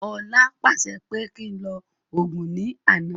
Ọlá pàṣẹ pé kí ń lọ Ògún ní àná